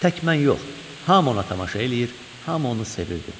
Tək mən yox, hamı ona tamaşa eləyir, hamı onu sevirdi.